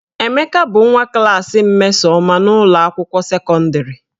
Emeka bụ nwa klaasị Mmesoma n'ụlọ akwụkwọ sekọndịrị